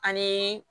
Ani